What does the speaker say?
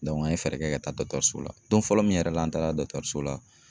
an ye fɛɛrɛ kɛ ka taa dɔtɔrso la, don fɔlɔ min yɛrɛ la an taara dɔtɔrso la